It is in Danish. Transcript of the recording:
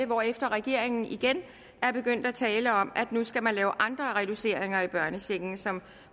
hvorefter regeringen igen er begyndt at tale om at nu skal man lave andre reduceringer i børnechecken som